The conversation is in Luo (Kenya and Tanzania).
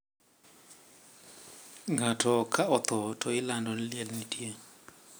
Ngato ka otho to ilando ni liel nitie.